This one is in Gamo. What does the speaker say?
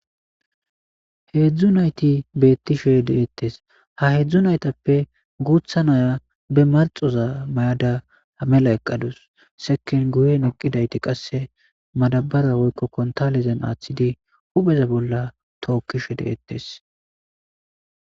Heedzdzu nayti beettishe de'ettes. Ha heedzdzu naytappe guuththa naya be marxxoza mayada mela eqqadus sekkin guyen eqqidayti qasse madabara woykko kuntaalezan aaththidi hupheza bolla tookishe de'etes.